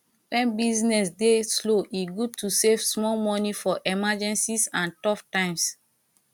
wen business dey slow e good to save small for emergencies and tough times